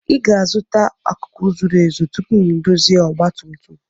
Ị ga-azụta akụkụ zuru ezu tupu m ndozie ọgba tum tum